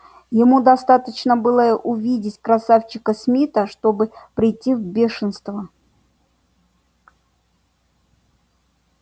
ему достаточно было увидеть красавчика смита чтобы прийти в бешенство